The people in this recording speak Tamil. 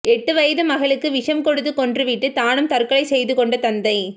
எட்டு வயது மகளுக்கு விஷம் கொடுத்து கொன்று விட்டு தானும் தற்கொலை செய்து கொண்ட தந்தை